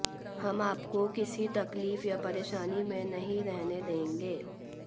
हम आपको किसी तकलीफ या परेशानी में नहीं रहने देंगे